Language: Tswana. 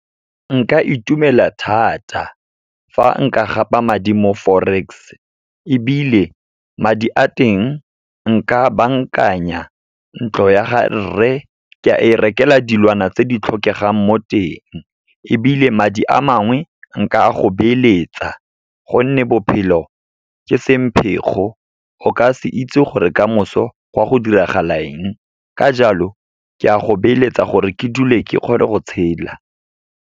Nka itumela thata, fa nka gapa madi mo Forex. Ebile madi a teng, nka bankanya ntlo ya ga rre, ke a e rekela dilwana tse di tlhokegang mo teng, ebile madi a mangwe, nka go beeletsa, gonne bophelo ke semphego, o ka se itse gore kamoso gwa go diragala eng. Ka jalo, ke a go beeletsa gore ke dule ke kgone go tshela.